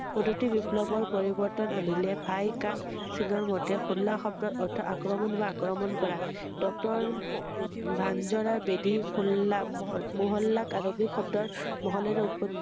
প্ৰদওি বিপ্লৱৰ পৰিবৰ্তন আনিলে ভাই কান্দ সিং ৰ মতে হোলা শব্দৰ অৰ্থ আক্ৰমণ বা আক্ৰমণ কৰা ৷ডক্তৰ গাঞ্জাৰাৰ বেদি হোল্লা~মহল্লাক আৰবিক শব্দৰ মহল্লাৰ উৎপওি৷